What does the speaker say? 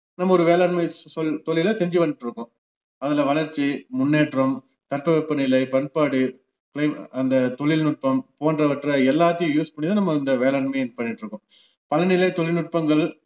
நம்ம ஒரு வேளாண்மை ச்~ சொல் தொழில செஞ்சுவந்துட்டுருக்கோம் அதுல வளர்ச்சி, முன்னேற்றம், தட்பவெப்பநிலை, பண்பாடு, மேம்~ அந்த தொழில்நுட்பம் போன்றவற்றை எல்லாத்தையும் use பண்ணி தான் நம்ம இந்த வேளாண்மை பண்ணிட்டுருக்கோம் பலநிலை தொழில்நுட்பங்கள்